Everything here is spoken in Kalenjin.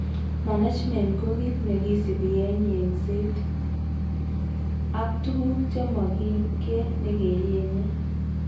management ko kit neu kit negisipi en yengset. Ag tuguk che mokin ke ne ke yenye.